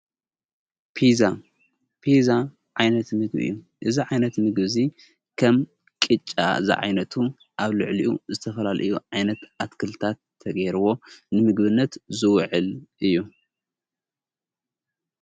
ጲዛ ዓይነት ምግቢ እዩ። እዛ ዓይነት ምግቢ እዙይ ከም ቂጫ እዛ ዓይነቱ ኣብ ልዕሊኡ ዝተፈላል እዩ ዓይነት ኣትክልታት ተገይርዎ ንምግብነት ዝውዕል እዩ።